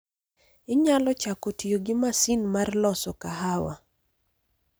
Inyalo chako tiyo gi masin mar loso kahawa.